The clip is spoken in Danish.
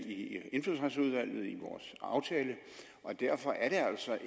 i indfødsretsudvalget i vores aftale og derfor er det altså